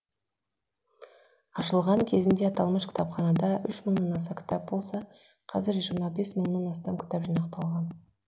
ашылған кезінде аталмыш кітапханада үш мыңнан аса кітап болса қазір жиырма бес мыңнан астам кітап жинақталған